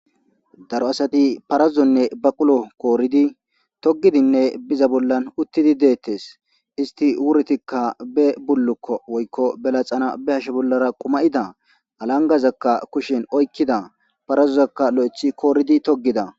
Daro asati parazuzonne ba qulo kooridi togidinne biza bollan uttidi deettes isti wurtikka be bullukko woykko belaxana be hashe bollara quma'ida alangazakka kushin oykkida parazuzakka lo7ethi kooridi togida